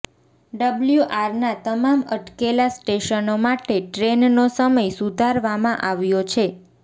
ડબ્લ્યુઆરના તમામ અટકેલા સ્ટેશનો માટે ટ્રેનનો સમય સુધારવામાં આવ્યો છે